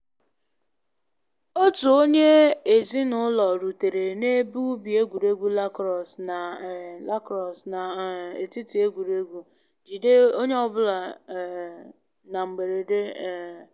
Otu onye ezi na ụlọ rutere na ebe ubi egwuregwu lacrosse na um lacrosse na um etiti egwuregwu, jide onye ọ bụla um na mgberede um